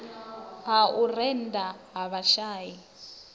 ha u rennda ha vhashai